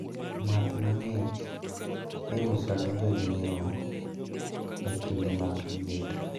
Math mang`ich iusonega jonyiewo e kinde mag liet.